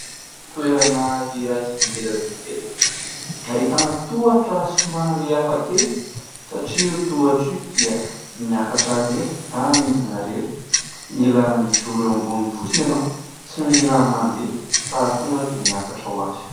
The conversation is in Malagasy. Toerana iray izay tsy ngeza tsy kely, ahitana tohatra somary hafa kely satria io tohatra io dia miakatra irery na midina irery ; mila mijoro eo ambonin'ny fotsiny ianao tsy mila mandeha fa tonga dia miakatra ho azy.